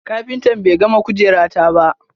kafintan be gama kujera ta ba.